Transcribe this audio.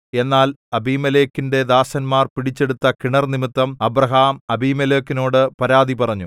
എന്നാൽ അബീമേലെക്കിന്റെ ദാസന്മാർ പിടിച്ചെടുത്ത കിണർ നിമിത്തം അബ്രാഹാം അബീമേലെക്കിനോട് പരാതി പറഞ്ഞു